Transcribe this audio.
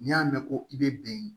N'i y'a mɛn ko i bɛ bɛn